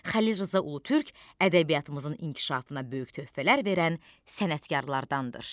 Xəlil Rza Ulutürk ədəbiyyatımızın inkişafına böyük töhfələr verən sənətkarlardandır.